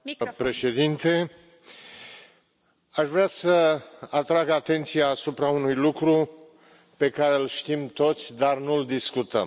Doamna președintă, aș vrea să atrag atenția asupra unui lucru pe care îl știm toți, dar nu îl discutăm.